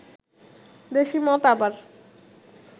দেশী মত আবার